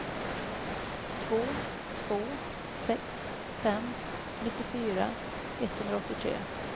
två två sex fem nittiofyra etthundraåttiotre